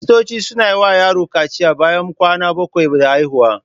Kiristoci suna yi wa yaron kaciya bayan kwana bakwai da haihuwa.